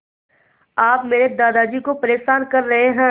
आप मेरे दादाजी को परेशान कर रहे हैं